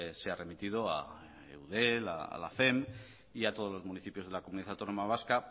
sea remitido a eudel a la y a todos los municipios de la comunidad autónoma vasco